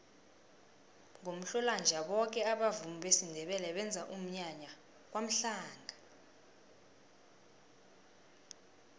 ngomhlolanja boke abavumi besindebele benza umnyanya kwamhlanga